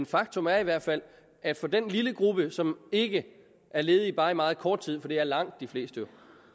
faktum er i hvert fald at for den lille gruppe som ikke er ledige bare i meget kort tid for det er langt de fleste